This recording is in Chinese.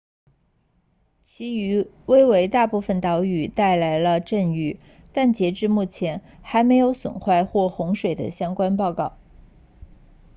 其余威为大部分岛屿带来了阵雨但截至目前还没有损坏或洪水的相关报告